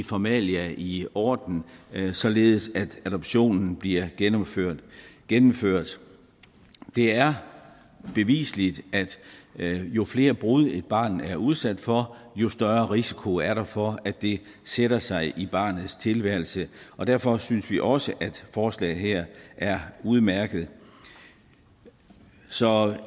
formalia i orden således at adoptionen bliver gennemført gennemført det er beviseligt at jo flere brud et barn er udsat for jo større risiko er der for at det sætter sig i barnets tilværelse og derfor synes vi også at forslaget her er udmærket så